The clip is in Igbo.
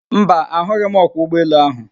Mba, a hụghị m ọkwọ ụgbọ elu ahụ.